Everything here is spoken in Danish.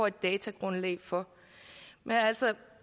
et datagrundlag for